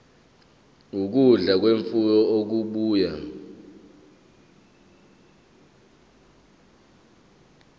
ukudla kwemfuyo okubuya